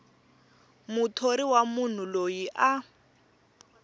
muthori wa munhu loyi a